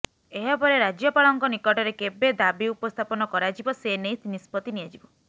ଏହାପରେ ରାଜ୍ୟପାଳଙ୍କ ନିକଟରେ କେବେ ଦାବି ଉପସ୍ଥାପନ କରାଯିବ ସେନେଇ ନିଷ୍ପତି ନିଆଯିବ